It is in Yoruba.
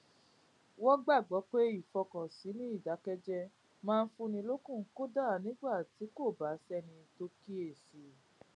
wón gbàgbó pé ìfọkànsìn ní ìdákéjéé máa ń fúnni lókun kódà nígbà tí kò bá séni tó kíyè sí i